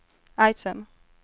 item